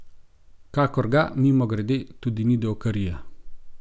Kakor ga, mimogrede, tudi ni davkarija.